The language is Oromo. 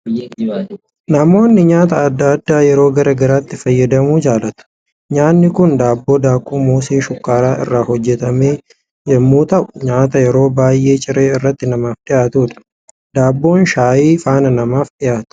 Namoonni nyaata adda addaa yeroo garaa garaatti fayyadamuu jaalatu, Nyaanni kun daabboo daakuu mosee shukkaaraa irraa hoojjetame yommuu ta'u, nyaata yeroo baay'ee ciree irratti namaaf dhiyaatudha. Daabboon shayii faana namaaf dhiyaata.